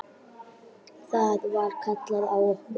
Þá var kallað á okkur.